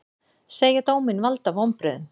Segja dóminn valda vonbrigðum